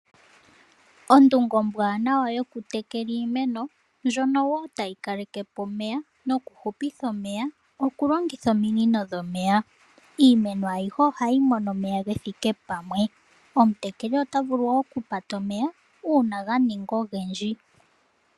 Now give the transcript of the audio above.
Ondunge ombwaanawa yoku tekela iimeno, ndjono wo tayi kalekepo omeya noku hupitha omeya ,okulongitha ominino dhomeya. Iimeno ayihe ohayi mono omeya gethike pamwe. Omutekeli ota vulu wo okupata omeya uuna ga ninga ogendji.